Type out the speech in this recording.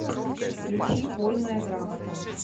включи вольная грамота